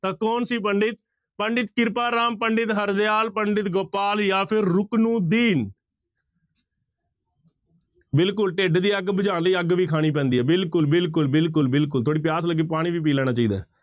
ਤਾਂ ਕੌਣ ਸੀ ਪੰਡਿਤ ਪੰਡਿਤ ਕਿਰਪਾ ਰਾਮ, ਪੰਡਿਤ ਹਰਦਿਆਲ, ਪੰਡਿਤ ਗੋਪਾਲ ਜਾਂ ਫਿਰ ਰੁਕਨੁਦੀਨ ਬਿਲਕੁਲ ਢਿੱਡ ਦੀ ਅੱਗ ਬੁਝਾਉਣ ਲਈ ਅੱਗ ਵੀ ਖਾਣੀ ਪੈਂਦੀ ਹੈ, ਬਿਲਕੁਲ, ਬਿਲਕੁਲ, ਬਿਲਕੁਲ, ਬਿਲਕੁਲ, ਥੋੜ੍ਹੀ ਪਿਆਸ ਲੱਗੀ ਪਾਣੀ ਵੀ ਪੀ ਲੈਣਾ ਚਾਹੀਦਾ ਹੈ।